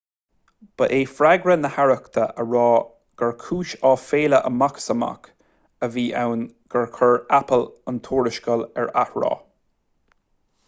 ba é freagra na haireachta a rá gur cúis aiféala amach is amach a bhí ann gur chuir apple an tuarascáil ar atráth